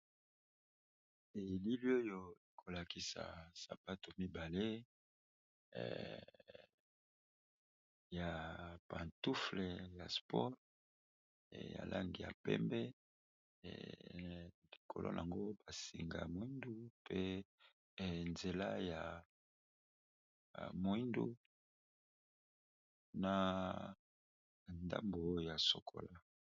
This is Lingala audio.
Elili oyo ezakolakisa sapato mibale ya pantufle ya sport ya langi ya pembe likolo nayango ba singa moyindo pe nzela ya moyindo pe na ngambo ya chocolat.